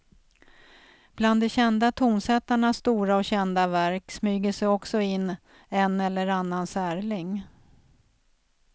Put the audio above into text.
Bland de kända tonsättarnas stora och kända verk smyger sig också in en eller annan särling.